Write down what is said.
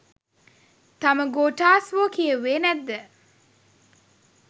තාම ගෝඨාස් වෝ කියෙව්වෙ නැද්ද